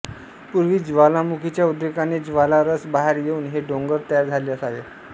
पूर्वी ज्वालामुखीच्या उद्रेकाने ज्वाला रस बाहेर येऊन हे डोंगर तयार झाले असावे